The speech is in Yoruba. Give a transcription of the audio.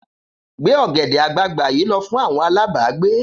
Gbé ọ̀gẹ̀dẹ̀ àgbagbà yìí lọ fún àwọn alágbàágbé!